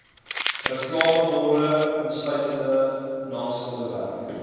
reklameborde insluitende naamskilderwerk